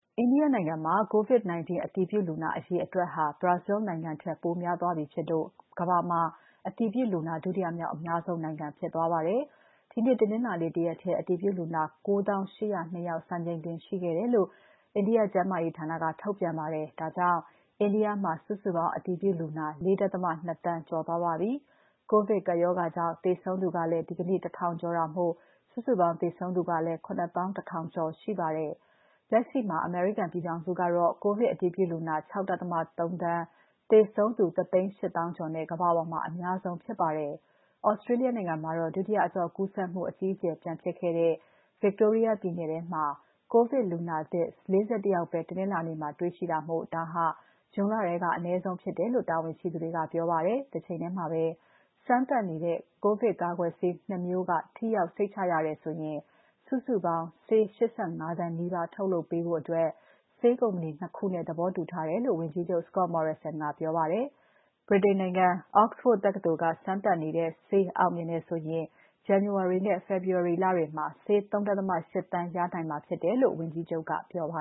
အိန္ဒိယနိုင်ငံမှာ COVID-19 အတည်ပြုလူနာအရေအတွက်ဟာ Brazil နိုင်ငံထက် ပိုများသွားပြီဖြစ်လို့ ကမ္ဘာမှာ အတည်ပြုလူနာ ဒုတိယမြောက်အများဆုံးနိုင်ငံ ဖြစ်သွားပါတယ်။ ဒီနေ့တနင်္လာနေ့တရက်ထဲ အတည်ပြုလူနာ ၉၀,၈၀၂ စံချိန်တင်ရှိခဲ့တယ်လို့ ကျန်းမာရေးဌာနက ထုတ်ပြန်ပါတယ်။ ဒါကြောင့် အိန္ဒိယနိုင်ငံမှာ စုစုပေါင်းအတည်ပြုလူနာ ၄.၂ သန်းကျော်ရှိနေပါတယ်။ ကိုဗစ်ကပ်ရောဂါကြောင့် သေဆုံးသူကလည်း ဒီနေ့ ၁,၀၀၀ ကျော်တာမို့ စုစုပေါင်း သေဆုံးသူ ၇၁,၀၀၀ ကျော်ဖြစ်ပါတယ်။ လက်ရှိမှာ အမေရိကန်ပြည်ထောင်စုက ကိုဗစ် အတည်ပြုလူနာ ၆.၃ သန်း သေဆုံးသူ ၁၈၀,၀၀၀ ကျော်နဲ့ ကမ္ဘာပေါ်မှာ အများဆုံးဖြစ်ပါတယ်။ Australia နိုင်ငံမှာတော့ ဒုတိယအကျော့ကူးစက်မှု အကြီးအကျယ်ပြန်ဖြစ်တဲ့ Victoria ပြည်နယ်ထဲမှာ ကိုဗစ်လူနာသစ် ၄၁ ယောက်ပဲ တနင်္လာနေ့မှာ တွေ့ရှိပြီး ဒါဟာ ဇွန်လထဲကဆိုရင် အနည်းဆုံးဖြစ်တယ်လို့ တာဝန်ရှိသူတွေက ပြောပါတယ်။ တချိန်ထဲမှာပဲ စမ်းသပ်နေတဲ့ ကိုဗစ်ကာကွယ်ဆေး ၂ မျိုးက ထိရောက် စိတ်ချရတယ်ဆိုရင် စုစုပေါင်းဆေး ၈၅ သန်းနီးပါးထုတ်လုပ်ပေးဖို့ဆေးကုမ္ပဏီ ၂ ခုနဲ့ သဘောတူထားတယ်လို့ ဝန်ကြီးချုပ် Scott Morrison ကပြောပါတယ်။ ဗြိတိန်နိုင်ငံ Oxford တက္ကသိုလ်က စမ်းသပ်နေတဲ့ ဆေး အောင်မြင်တယ်ဆိုရင် ဇန်နဝါရီလနဲ့ ဖေဖော်ဝါရီလမှာ ဆေး ၃.၈ သန်းရနိုင်မှာဖြစ်တယ်လို့ ဝန်ကြီးချုပ်ကပြောပါ